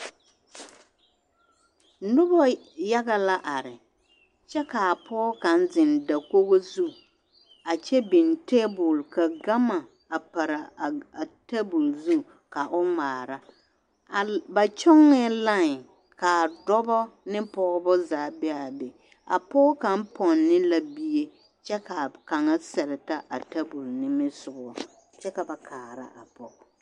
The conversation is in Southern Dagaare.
Noba yaɡa la are kyɛ ka pɔɡe kaŋ zeŋ dakoɡi zu a kyɛ biŋ teebul ka ɡama pare a teebuli zu ka o ŋmaara ba kyɔɡɛɛ lai ka dɔbɔ ne pɔɡebɔ zaa be a be a pɔɡe kaŋ pɔne la bie kyɛ ka kaŋ sɛreta a tabuli nimisoɡa kyɛ ka ba kaara a pɔɡe.